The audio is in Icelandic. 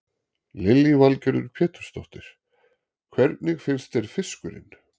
Lillý Valgerður Pétursdóttir: Hvernig finnst þér fiskurinn?